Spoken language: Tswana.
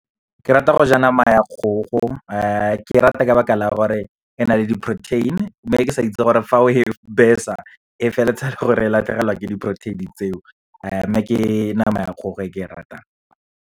Ke rata go ja nama ya kgogo, ke rata ka lebaka la gore e na le di-protein, mme ke sa itse gore fa o e besa, e feleletsa e le gore e latlhegelwa ke di-protein tseo. Mme ke nama ya kgogo e ke e ratang.